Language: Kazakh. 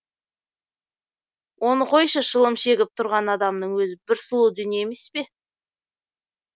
оны қойшы шылым шегіп тұрған адамның өзі бір сұлу дүние емес пе